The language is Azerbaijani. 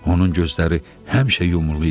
Onun gözləri həmişə yumulu idi.